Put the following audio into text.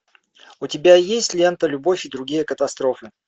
у тебя есть лента любовь и другие катастрофы